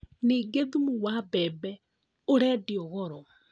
Ningĩ thumu wa mbembe ũrendio goro